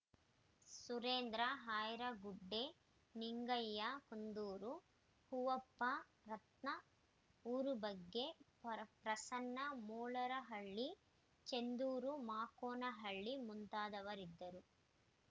ಸುರೇಂದ್ರ ಹ್ಯಾರಗುಡ್ಡೆ ನಿಂಗಯ್ಯ ಕುಂದೂರು ಹೂವಪ್ಪ ರತನ್‌ ಊರು ಬಗ್ಗೆ ಪ್ರಸನ್ನ ಮೂಲರಹಳ್ಳಿ ಚಂದ್ರು ಮಾಕೋನಹಳ್ಳಿ ಮುಂತಾದವರಿದ್ದರು